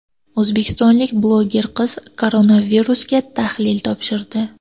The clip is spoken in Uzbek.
O‘zbekistonlik bloger qiz koronavirusga tahlil topshirdi.